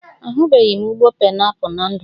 Ahubeghi m ụgbọ painiapụl na ndụ m